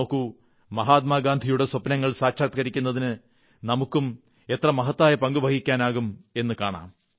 നോക്കൂ മഹാത്മാഗാന്ധിയുടെ സ്വപ്നങ്ങൾ സാക്ഷാത്കരിക്കുന്നതിന് നമുക്കും എത്ര മഹത്തായ പങ്കു വഹിക്കാനാകുമെന്നു കാണാം